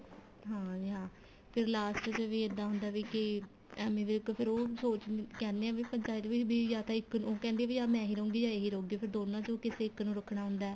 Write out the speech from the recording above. ਹਾਂ ਜੀ ਹਾਂ ਫੇਰ last ਚ ਵੀ ਇੱਦਾਂ ਹੁੰਦਾ ਵੀ ਕੀ ਏਮੀ ਵਿਰਕ ਫੇਰ ਉਹ ਸੋਚ ਕਹਿਨੇ ਏ ਵੀ ਪੰਚਾਇਤ ਵਿੱਚ ਬੀ ਜਾਂ ਤਾਂ ਇੱਕ ਉਹ ਕਹਿੰਦੇ ਏ ਵੀ ਜਾਂ ਮੈਜ ਹੀ ਰਹੂਗੀ ਜਾਂ ਇਹ ਹੀ ਰਹੂਗੀ ਫੇਰ ਦੋਨਾ ਚੋ ਕਿਸੇ ਇੱਕ ਨੂੰ ਰੱਖਣਾ ਹੁੰਦਾ